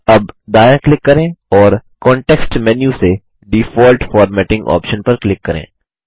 अब दायाँ क्लिक करें और कॉन्टेक्स्ट मेन्यू से डिफॉल्ट फॉर्मेटिंग ऑप्शन पर क्लिक करें